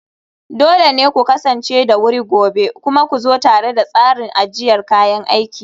dole ne ku kasance da wuri gobe, kuma ku zo tare da tsarin ajiyar kayan aiki